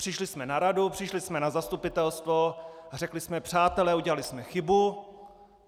Přišli jsme na radu, přišli jsme na zastupitelstvo a řekli jsme: Přátelé, udělali jsme chybu!